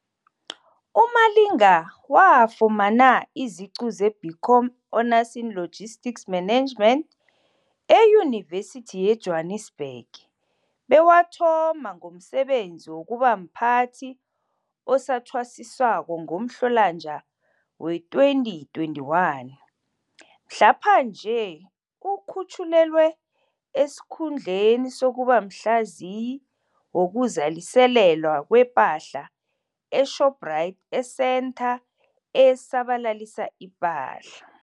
UMalinga wafumana iziqu ze-BCom Honours in Logistics Management eYunivesithi yeJwanisbhege bewathoma ngomsebenzi wokubamphathi sathwasiswako ngoMhlolanja wee-2021. Mhlaphanje, ukhutjhulelwe esikhundleni sokuba Mhlaziyi Wokuzaliselelwa Kwe pahla e-Shoprite esentha esabalalisa ipahla.